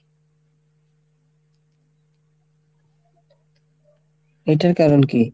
এইটার কারণ কী?